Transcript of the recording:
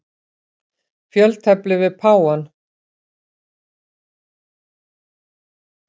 Fjöltefli við páfann.